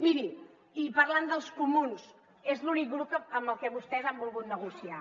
miri i parlant dels comuns és l’únic grup amb el que vostès han volgut negociar